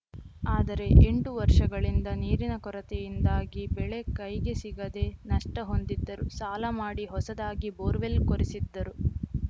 ಆದರೆ ಎಂಟು ವರ್ಷಗಳಿಂದ ನೀರಿನ ಕೊರತೆಯಿಂದಾಗಿ ಬೆಳೆ ಕೈಗೆ ಸಿಗದೆ ನಷ್ಟಹೊಂದಿದ್ದರು ಸಾಲ ಮಾಡಿ ಹೊಸದಾಗಿ ಬೋರ್‌ವೆಲ್‌ ಕೊರೆಸಿದ್ದರು